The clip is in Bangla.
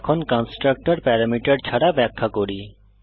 এখন কন্সট্রাকটর প্যারামিটার ছাড়া ব্যাখ্যা করি